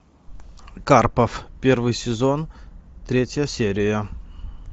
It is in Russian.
карпов первый сезон третья серия